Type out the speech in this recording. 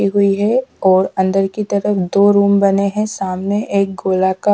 हुई है और अंदर की तरफ दो रूम बने हैं सामने एक गोला का--